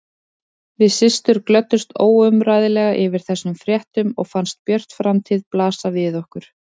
Við systur glöddumst óumræðilega yfir þessum fréttum og fannst björt framtíð blasa við okkur.